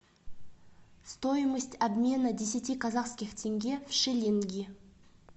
стоимость обмена десяти казахских тенге в шиллинги